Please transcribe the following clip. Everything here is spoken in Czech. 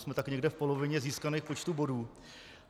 Jsme tak někde v polovině získaného počtu bodů.